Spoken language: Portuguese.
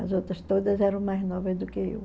As outras todas eram mais novas do que eu.